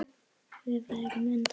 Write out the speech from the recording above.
Þau væru enda tengd.